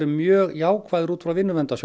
mjög jákvæðir út frá